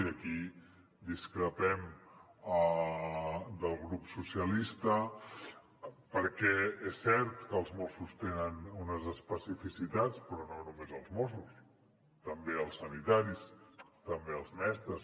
i aquí discrepem del grup socialistes perquè és cert que els mossos tenen unes especificitats però no només els mossos també els sanitaris també els mestres